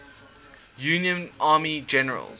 union army generals